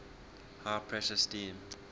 high pressure steam